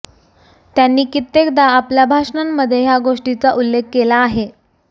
त्यांनी कित्येकदा आपल्या भाषणांमध्ये ह्या गोष्टीचा उल्लेख केला आहे